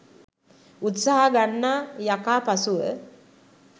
උත්සාහ ගන්නා යකා පසුව